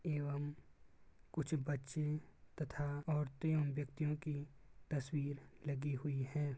एवं कुछ बच्चे तथा औरतें और व्यक्तियों कि तस्वीर लगी हुयी है।